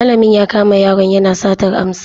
Malamin ya kama yaron yana satar amsa.